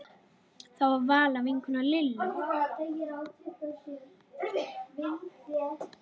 Það var Vala vinkona Lillu.